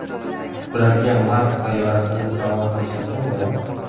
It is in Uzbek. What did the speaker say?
Ularga mars sayyorasini sovg‘a qilisharkan-da!